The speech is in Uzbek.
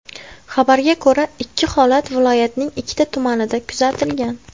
Xabarga ko‘ra, ikki holat viloyatning ikkita tumanida kuzatilgan.